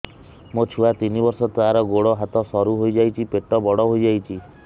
ମୋ ଛୁଆ ତିନି ବର୍ଷ ତାର ଗୋଡ ହାତ ସରୁ ହୋଇଯାଉଛି ପେଟ ବଡ ହୋଇ ଯାଉଛି